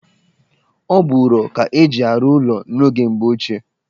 Ọ bụ ụrọ ka-eji arụ ụlọ n'oge mgbe ochie